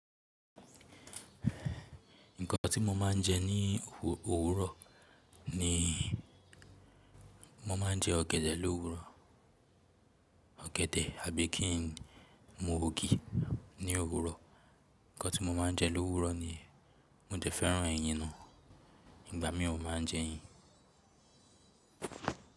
Nǹkan tí mo máa ń jẹ ní òwúrọ̀ ni mo máa ń jẹ ọ̀gẹ̀dẹ̀ lówúrọ̀, ọ̀gẹ̀dẹ̀ àbí kí n mu ògì ní òwúrọ̀. Ǹkan tí mo máa ń jẹ lówúrọ̀ niyẹn mo dẹ̀ fẹ́ràn ẹyin náà, ìgbà míì mo máa ń jẹ ẹyin.